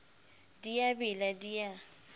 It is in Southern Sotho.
di a bela di a